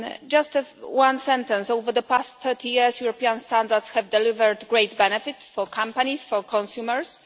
Just one sentence over the past 30 years European standards have delivered great benefits for companies, for consumers.